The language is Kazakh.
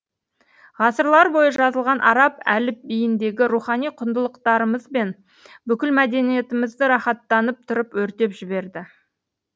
ғасырлар бойы жазылған араб әліпбиіндегі рухани құндылықтарымызбен бүкіл мәдениетімізді рахаттанып тұрып өртеп жіберді